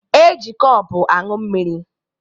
E ji kọpụ añụ mmiri